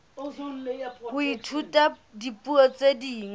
ho ithuta dipuo tse ding